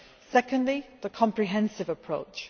Secondly, the comprehensive approach.